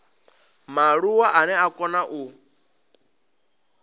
mualuwa ane a kona u